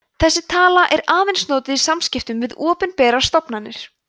þessi tala er aðeins notuð í samskiptum við opinberar stofnanir